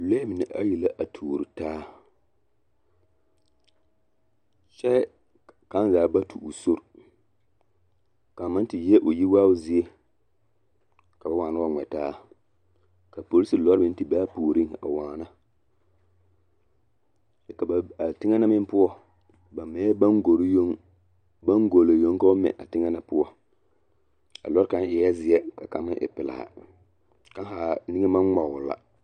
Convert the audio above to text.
Lɔɛ mine ayi la a tuore taa kyɛ kaŋ zaa ba tu o sori kaŋ maŋ te yie o yi waao zie ka ba waana wa ŋmɛ taa ka polisi lɔre meŋ te be a puoreŋ a waana kyɛ ka ba a teŋɛ na meŋ poɔ ba mɛɛ baŋgore yoŋ baŋŋolo yoŋ ka ba mɛ a teŋɛ na poɔ a lɔɔre kaŋ eɛɛ zie ka kaŋ meŋ e pelaa kaŋ haa niŋe maŋ ŋmɔgle la.